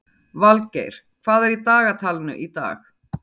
Valgeir, hvað er í dagatalinu í dag?